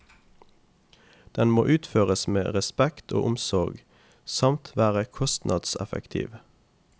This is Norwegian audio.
Den må utføres med respekt og omsorg samt være kostnadseffektiv.